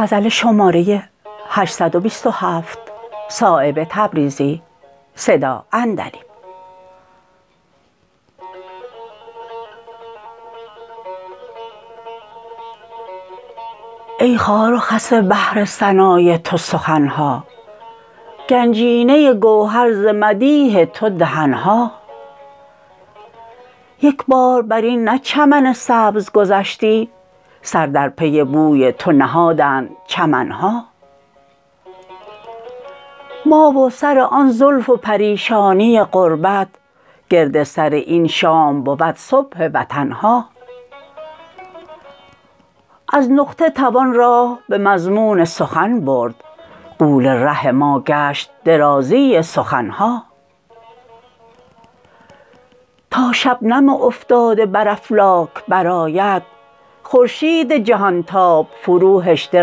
ای خار و خس بحر ثنای تو سخن ها گنجینه گوهر ز مدیح تو دهن ها یک بار بر این نه چمن سبز گذشتی سر در پی بوی تو نهادند چمن ها ما و سر آن زلف و پریشانی غربت گرد سر این شام بود صبح وطن ها از نقطه توان راه به مضمون سخن برد غول ره ما گشت درازی سخن ها تا شبنم افتاده بر افلاک برآید خورشید جهان تاب فروهشته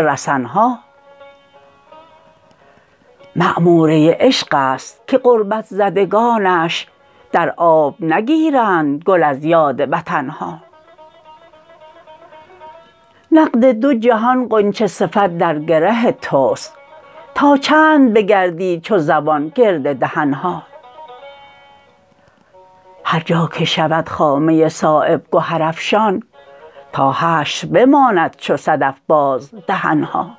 رسن ها معموره عشق است که غربت زدگانش در آب نگیرند گل از یاد وطن ها نقد دو جهان غنچه صفت در گره توست تا چند بگردی چو زبان گرد دهن ها هرجا که شود خامه صایب گهرافشان تا حشر بماند چو صدف باز دهن ها